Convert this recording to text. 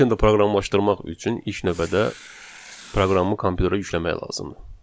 Python-da proqramlaşdırmaq üçün ilk növbədə proqramı kompüterə yükləmək lazımdır.